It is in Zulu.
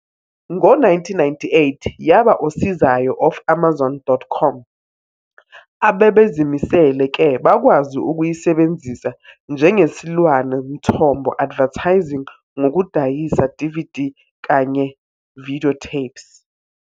Ngo-1998, yaba osizayo of Amazon.com, ababezimisele ke bakwazi ukuyisebenzisa njengesilwane mthombo advertising ngokudayisa DVD kanye videotapes.